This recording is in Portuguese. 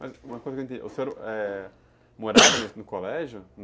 Mas uma coisa que eu não entendi, ãh, o senhor morava no colégio?